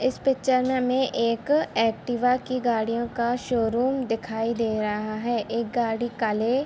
इस पिक्चर में हमें एक एक्टिवा की गाड़ियों का शोरूम दिखाई दे रहा है एक गाड़ी काले --